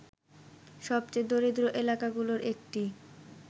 সবচেয়ে দরিদ্র এলাকাগুলোর একটি